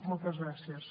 moltes gràcies